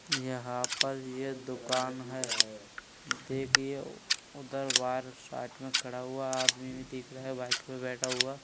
यहाँं पर ये एक दुकान है। देखिए उधर बाहार साइड में खड़ा हुआ आदमी भी दिख रहा बाइक बैठा हुआ।